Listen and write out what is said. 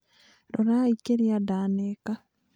Rorai kĩrĩa ndaneka